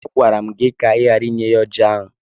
Agwara m gị ka ị ghara inye ya ọjị ahụ!